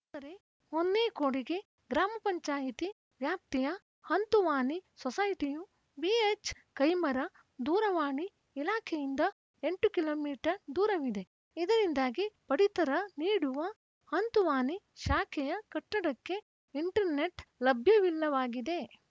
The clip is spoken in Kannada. ಆದರೆ ಹೊನ್ನೇಕೊಡಿಗೆ ಗ್ರಾಮ ಪಂಚಾಯ್ತಿ ವ್ಯಾಪ್ತಿಯ ಹಂತುವಾನಿ ಸೊಸೈಟಿಯು ಬಿಎಚ್‌ ಕೈಮರ ದೂರವಾಣಿ ಇಲಾಖೆಯಿಂದ ಎಂಟು ಕಿಲೋ ಮೀಟರ್ ದೂರವಿದೆ ಇದರಿಂದಾಗಿ ಪಡಿತರ ನೀಡುವ ಹಂತುವಾನಿ ಶಾಖೆಯ ಕಟ್ಟಡಕ್ಕೆ ಇಂಟರ್‌ನೆಟ್‌ ಲಭ್ಯವಿಲ್ಲವಾಗಿದೆ